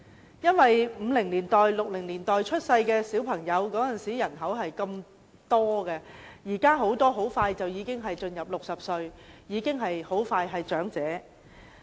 由於1950年代和1960年代出生的人很多，他們現在快將踏入60歲，很快便是長者。